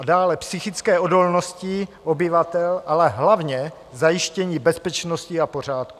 A dále psychické odolnosti obyvatel, ale hlavně zajištění bezpečnosti a pořádku.